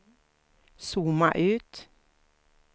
zooma ut